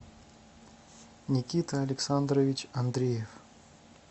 никита александрович андреев